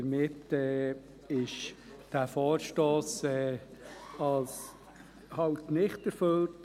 Damit ist dieser Vorstoss eben «nicht erfüllt».